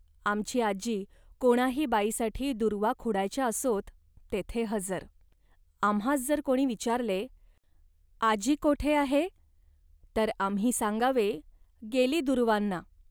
आमची आजी कोणाही बाईसाठी दूर्वा खुडायच्या असोत, तेथे हजर. आम्हांस जर कोणी विचारले, 'आजी कोठे आहे', तर आम्ही सांगावे, 'गेली दूर्वांना